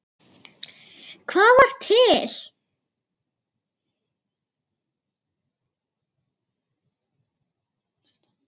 Hvað var til?